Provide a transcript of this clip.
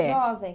É. Jovem.